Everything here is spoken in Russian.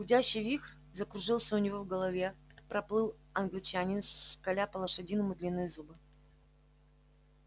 гудящий вихрь закружился у него в голове проплыл англичанин скаля по-лошадиному длинные зубы